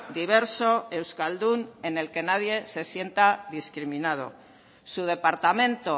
diverso euskaldun en el que nadie se sienta discriminado su departamento